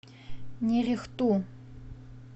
нерехту